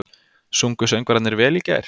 Sungu söngvararnir vel í gær?